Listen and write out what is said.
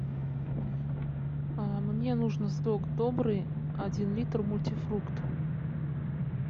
мне нужно сок добрый один литр мультифрукт